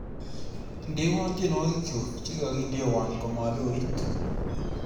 Indeno tyenwogikchuk chegigindeno komaloit